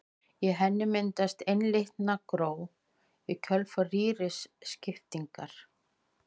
Í henni myndast einlitna gró í kjölfar rýriskiptingar.